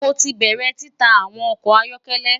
Mo ti bẹrẹ tita awọn ọkọ ayọkẹlẹ